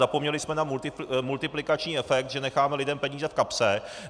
Zapomněli jsme na multiplikační efekt, že necháme lidem peníze v kapse.